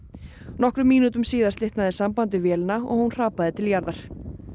nokkrum mínútum síðar slitnaði samband við vélina og hún hrapaði til jarðar